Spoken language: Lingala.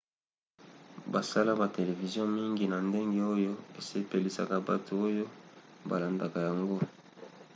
basala ba televizio mingi na ndenge oyo esepelisaka bato oyo balandaka yango